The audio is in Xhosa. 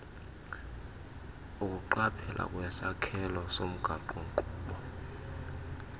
ukuqaphela kwisakhelo somgaqonkqubo